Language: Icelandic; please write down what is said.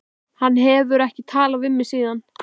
Hann hefur ekki talað við mig síðan.